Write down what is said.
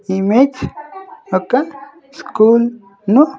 Image ఒక్క school ను.